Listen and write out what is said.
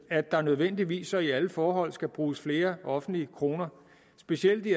at der nødvendigvis og i alle forhold skal bruges flere offentlige kroner specielt i